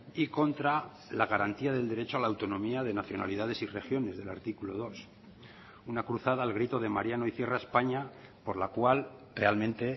y contra la garantía del derecho a la autonomía de nacionalidades y regiones del artículo dos una cruzada al grito de mariano y cierra españa por la cual realmente